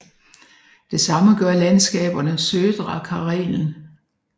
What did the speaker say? Det samme gør landskaberne Södra Karelen